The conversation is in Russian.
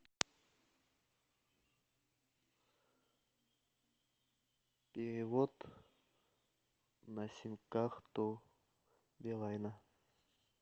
перевод на сим карту билайна